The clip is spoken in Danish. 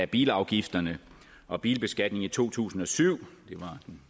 bilafgifterne og bilbeskatningen i to tusind og syv